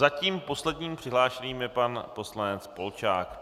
Zatím posledním přihlášeným je pan poslanec Polčák.